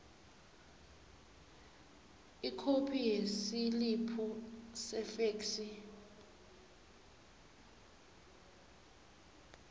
ikhophi yesiliphu sefeksi